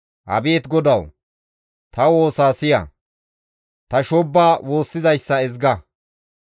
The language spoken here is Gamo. Abeet GODAWU! Ta woosa siya; ta shoobba woossizayssa ezga.